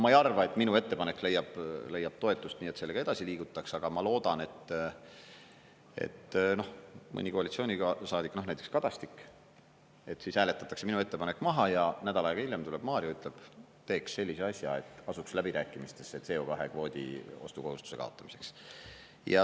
Ma ei arva, et minu ettepanek leiab toetust, nii et sellega edasi liigutakse, aga ma loodan, et mõni koalitsioonisaadik, näiteks Kadastik, siis hääletatakse minu ettepanek maha ja nädal aega hiljem tuleb Mario ja ütleb, teeks sellise asja, et asuks läbirääkimistesse CO2-kvoodi ostukohustuse kaotamiseks.